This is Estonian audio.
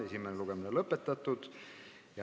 Esimene lugemine on lõpetatud.